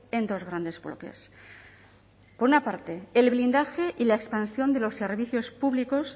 en dos grandes bloques por una parte el blindaje y la expansión de los servicios públicos